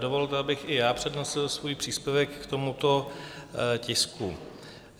Dovolte, abych i já přednesl svůj příspěvek k tomuto tisku.